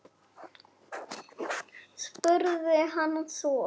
spurði hann svo.